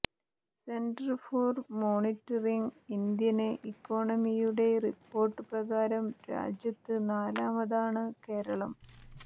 centre for monitoring Indian ഇക്കോണമിയുടെ report പ്രകാരം രാജ്യത്ത് നാലാമതാണ് കേരളം